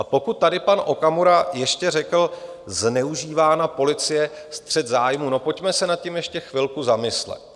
A pokud tady pan Okamura ještě řekl: zneužívána policie, střet zájmů - no pojďme se nad tím ještě chvilku zamyslet.